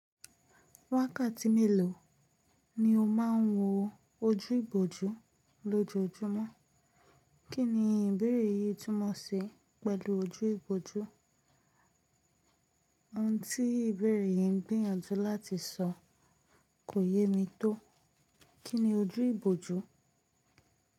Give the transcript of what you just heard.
Wákàtí mélòó ni o máà ń wo ojú ìbòjú lójoojúmọ́? Kí ni ìbéèrè yìí túmọ̀ sí pẹ̀lú ojú ìbòjú? Ohun tí ìbéèrè yìí n gbìyànjú láti sọ kò yé mi tó. Kí ni ojú ìbòjú?